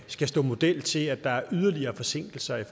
skal stå model til at der er yderligere forsinkelser af